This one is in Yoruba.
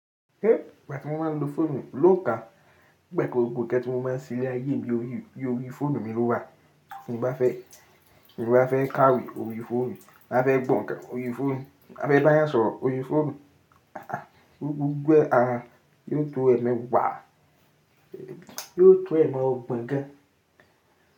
Eh, ìgbà tí mo máa ń lo fóònù lóòóká, gbẹ́kòò gbogbo ìkẹ́ tí mo máa ń sílé ayé bí i orí, bí i orí fóònù mi ló wà. Ti mo bá fẹ́, tí mo bá fẹ́ kàwé orí fóònù, ma fẹ́ gbọ̀nka orí fóònù, ma fẹ́ dáyà sọ̀rọ̀ orí fóònù, aha, gbogbogbò a yóò tó ẹ̀mi wà, yóò tó ẹ̀mi ọgbọ̀n ga.